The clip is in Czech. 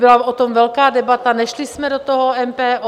Byla o tom velká debata, nešli jsme do toho, MPO.